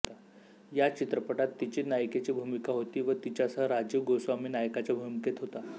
या चित्रपटात तिची नायिकेची भूमिका होती व तिच्यासह राजीव गोस्वामी नायकाच्या भूमिकेत होता